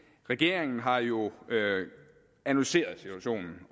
regeringen har jo analyseret situationen